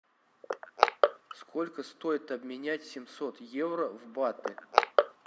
сколько стоит обменять семьсот евро в баты